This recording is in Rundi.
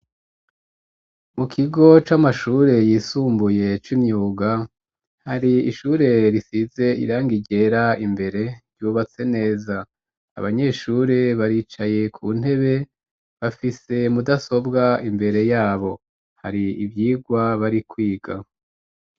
Mu kigo c'amashure yisumbuye c'imyuga, hari ishure risize irangi ryera imbere ryubatse neza. Abanyeshure baricaye ku ntebe bafise mudasobwa imbere yabo hari ivyirwa bari kwiga.